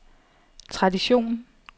tradition